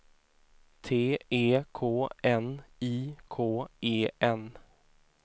T E K N I K E N